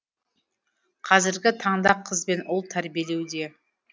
қазіргі таңда қыз бен ұл тәрбиелеуде